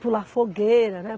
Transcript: Pular fogueira, né?